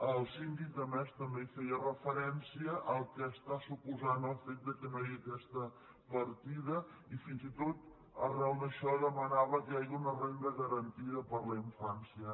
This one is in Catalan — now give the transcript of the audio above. el síndic a més també feia referència al que està suposant el fet que no hi hagi aquesta partida i fins i tot arran d’això demanava que hi hagi una renda garantida per a la infància